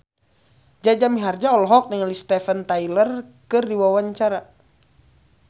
Jaja Mihardja olohok ningali Steven Tyler keur diwawancara